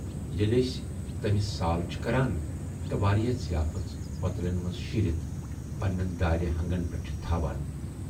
ییلہِ ٲسۍ تمِٔس سال چھِ کران تہٕ واریاہ ضیافٔژ پوتلٮ۪ن منز شیٖرِتھ پنہٕ نٮ۪ن دارِ ہنگن پٮ۪ٹھ چھِ تھاوان۔